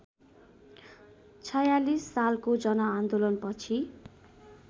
०४६ सालको जनआन्दोलनपछि